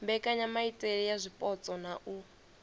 mbekanyamaitele ya zwipotso na u